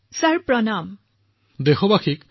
sir নমস্কাৰ